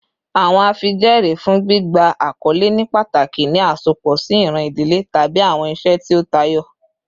Awọn afijẹẹri fun gbigba akọle ni pataki ni asopọ si iran idile tabi awọn iṣe ti o tayọ